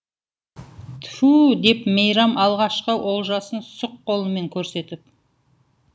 тфу деп мейрам алғашқы олжасын сұқ қолымен көрсетіп